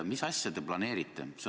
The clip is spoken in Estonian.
Mis asja te planeerite?